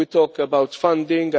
We talked about funding